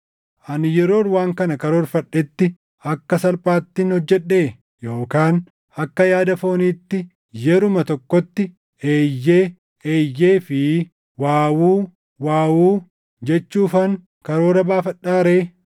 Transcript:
Ani yeroon waan kana karoorfadhetti akka salphaattin hojjedhee? Yookaan akka yaada fooniitti yeruma tokkotti, “Eeyyee, eeyyee” fi “Waawuu, waawuu” jechuufan karoora baafadhaa ree?